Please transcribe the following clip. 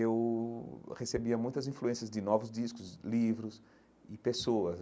eu recebia muitas influências de novos discos, livros e pessoas.